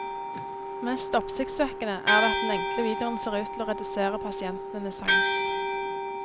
Mest oppsiktsvekkende er det at den enkle videoen ser ut til å redusere pasientenes angst.